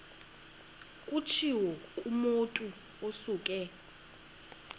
kutshiwo kumotu osuke